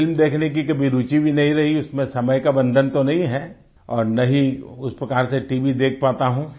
film देखने की कभी रूचि भी नहीं रही उसमें समय का बंधन तो नहीं है और न ही उस प्रकार से टीवी देख पाता हूँ